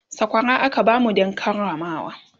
sakwara aka bamu Dan Karamawa